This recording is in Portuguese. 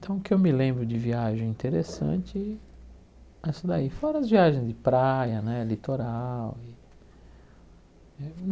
Então o que eu me lembro de viagem interessante é isso daí, fora as viagens de praia né, litoral.